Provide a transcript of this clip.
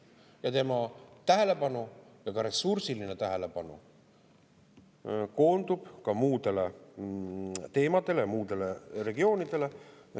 Ja tema tähelepanu, ka ressursiline tähelepanu, koondub muudele teemadele, muudele regioonidele.